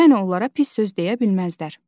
Yəni onlara pis söz deyə bilməzlər.